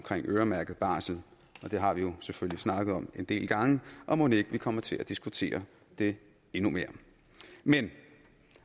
øremærket barsel det har vi jo selvfølgelig snakket om en del gange og mon ikke vi kommer til at diskutere det endnu mere men